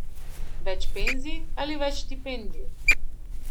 Več penzij ali več štipendij?